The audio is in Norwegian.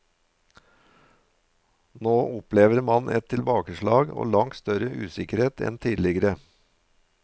Nå opplever man et tilbakeslag, og langt større usikkerhet enn tidligere.